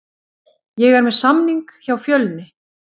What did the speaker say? Ég er með samning hjá Fjölni.